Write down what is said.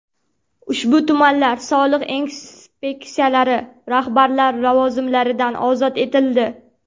Ushbu tumanlar soliq inspeksiyalari rahbarlari lavozimlaridan ozod etildi.